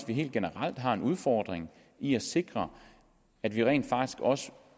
vi helt generelt har en udfordring i at sikre at vi rent faktisk også